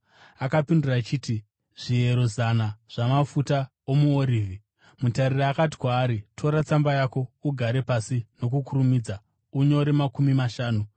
“Akapindura achiti, ‘Zviero zana zvamafuta omuorivhi.’ “Mutariri akati kwaari, ‘Tora tsamba yako, ugare pasi nokukurumidza, unyore makumi mashanu.’